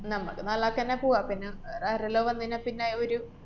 നമ്മക്ക് നാലാക്കന്നെ പൂവാം. പിന്നെ വേറെ ആരെല്ലാ വന്നുകഴിഞ്ഞാപ്പിന്നെ ഒരു